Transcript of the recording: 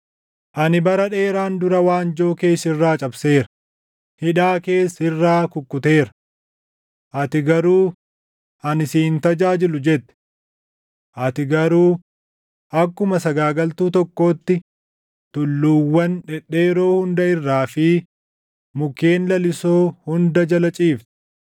“Ani bara dheeraan dura waanjoo kee sirraa cabseera; hidhaa kees sirraa kukkuteera. Ati garuu, ‘Ani si hin tajaajilu’ jette! Ati garuu akkuma sagaagaltuu tokkootti tulluuwwan dhedheeroo hunda irraa fi mukkeen lalisoo hunda jala ciifte.